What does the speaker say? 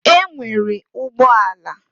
E nwere ụgbọ ala.